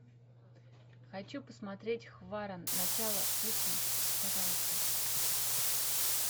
хочу посмотреть хваран начало включи пожалуйста